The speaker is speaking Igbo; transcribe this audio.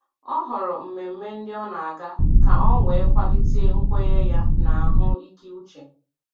Ọ họrọ mmemme ndị o na aga ka o wee kwalite nkwenye ya na ahụ ike uche